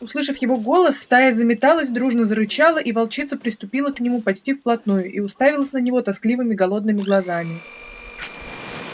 услышав его голос стая заметалась дружно зарычала и волчица подступила к нему почти вплотную и уставилась на него тоскливыми голодными глазами